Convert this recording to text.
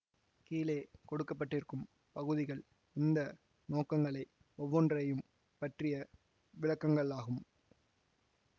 கீழே கொடுக்க பட்டிருக்கும் பகுதிகள் இந்த நோக்கங்களை ஒவ்வொன்றையும் பற்றிய விளக்கங்களாகும்